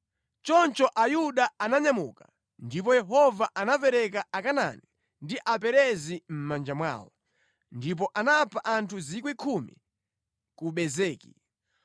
Choncho Ayuda ananyamuka, ndipo Yehova anapereka Akanaani ndi Aperezi mʼmanja mwawo. Ndipo anapha anthu 10,000 ku Bezeki.